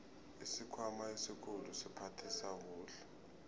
isikhwama esikhulu siphathisa kuhle